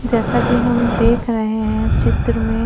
जेसा की हम देख रहे है चित्र में--